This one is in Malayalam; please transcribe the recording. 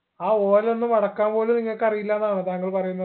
ആ ഓല ഒന്ന് മടക്കാൻ പോലും നിങ്ങക്ക് അറിയില്ലന്നാണോ താങ്കൾ പറയുന്നേ